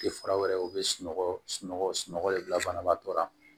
Tɛ fura wɛrɛw bɛ sunɔgɔ sunɔgɔ sunɔgɔ de bila banabaatɔ la